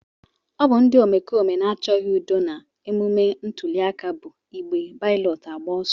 Ọ bụ ndị omekome na-achọghị udo na emume ntụliaka bụ igbe balọtụ agba ọsọ.